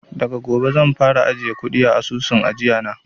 Daga gobe zan fara ajiye kuɗi a asusun ajiya na